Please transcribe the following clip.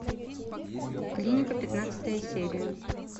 клиника пятнадцатая серия